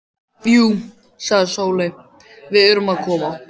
Jú, sagði Sóley, við erum að koma.